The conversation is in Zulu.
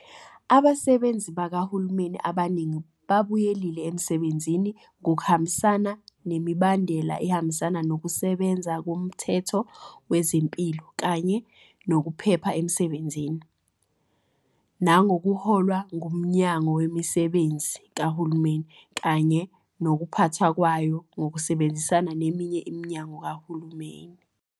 Abasebenzi bakahulumeni abaningi babuyelile emsebenzini ngokuhambisana nemibandela ehambisana Nokusebenza Komthetho Wezempilo kanye Nokuphepha Emsebenzini, nangokuholwa nguMnyango Wezemisebenzi Kahulumeni kanye Nokuphathwa Kwayo ngokusebenzisana neminye iminyango kahulumeni.